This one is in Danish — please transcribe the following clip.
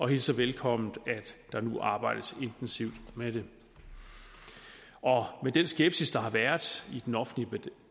hilser velkommen at der nu arbejdes intensivt med det med den skepsis der har været i den offentlige